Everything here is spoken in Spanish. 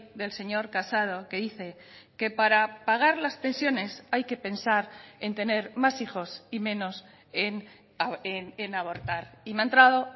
del señor casado que dice que para pagar las pensiones hay que pensar en tener más hijos y menos en abortar y me ha entrado